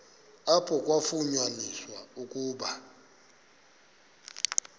apho kwafunyaniswa ukuba